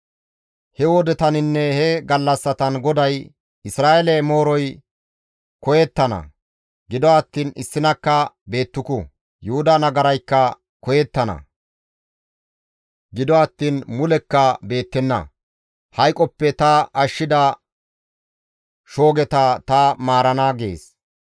He wodetaninne he gallassatan GODAY, «Isra7eele mooroy koyettana; gido attiin issinakka beettuku; Yuhuda nagaraykka koyettana; gido attiin mulekka beettenna; hayqoppe ta ashshida shoogeta ta maarana» gees.